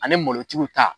Ani malotigiw ta